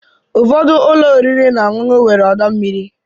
Ụfọdụ ụlọ oriri na ọṅụṅụ nwere ọdọ mmiri.